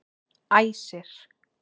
Æsir